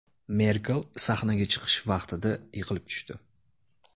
Merkel sahnaga chiqish vaqtida yiqilib tushdi .